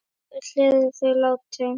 Öll eru þau látin.